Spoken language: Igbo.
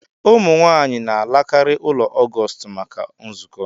Ụmụ nwanyị na alakari ụlọ Augustl maka nzukọ.